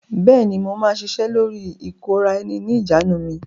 Bẹ́ẹ̀ ni, mo máa ṣiṣẹ́ lórí ìkóra-ẹni-ní-ìjánu mi.